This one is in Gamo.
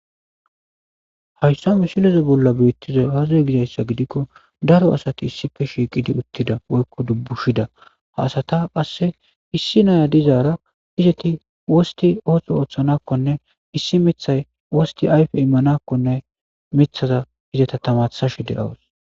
Hayssa mishileza bolla beettiza azey gidayssa gidikko daro asati issife shiiqidi uttida woykko dubbushida ha asata qasse issi naya dizaara izeti wosti oohtho ooththanakkone issi mithay wosti ayfe immanakkone mithaza izeta tamasashe de7awos